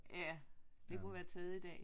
Ja det kunne være taget i dag